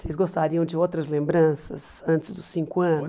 Vocês gostariam de outras lembranças antes dos cinco anos?